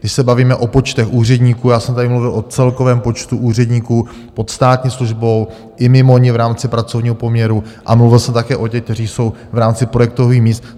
Když se bavíme o počtech úředníků, já jsem tady mluvil o celkovém počtu úředníků pod státní službou i mimo ni v rámci pracovního poměru a mluvil jsem také o těch, kteří jsou v rámci projektových míst.